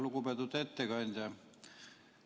Lugupeetud ettekandja!